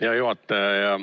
Hea juhataja!